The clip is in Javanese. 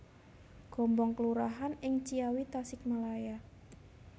Gombong kelurahan ing Ciawi Tasikmalaya